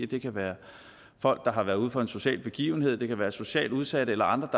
det kan være folk der har været ude for en social begivenhed det kan være socialt udsatte eller andre